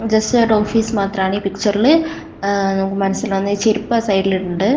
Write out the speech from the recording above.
Just ഒരു office മാത്രമാണ് ഈ പിക്ച്ചറില് ഉം നമ്മക്ക് മനസ്സിലാവുന്നത് ഈ ചെരുപ്പ് ആ സൈഡിൽ ഉണ്ട്.